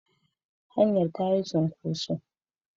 Hanyar ta yi cunkoso.